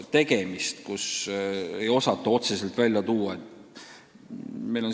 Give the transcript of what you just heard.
Otseselt ei osata midagi välja tuua.